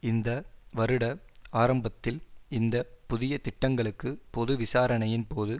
இந்த வருட ஆரம்பத்தில் இந்த புதிய திட்டங்களுக்கு பொது விசாரணையின் போது